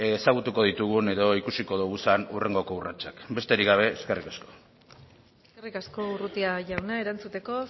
ezagutuko ditugun edo ikusi ditugun hurrengoko urratsak besterik gabe eskerrik asko eskerrik asko urrutia jauna erantzuteko